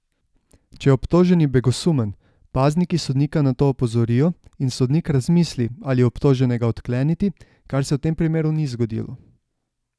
Če je obtoženi begosumen, pazniki sodnika na to opozorijo, in sodnik razmisli, ali obtoženega odkleniti, kar se v tem primeru ni zgodilo.